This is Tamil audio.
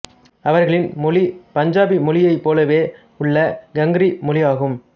அவர்களின் மொழி பஞ்சாபி மொழியை போலவே உள்ள காங்ரி மொழியாகும்